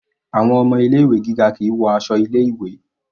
Àwọn ọmọ ilé ìwé gíga kìí wọ aṣọ ilé ìwé.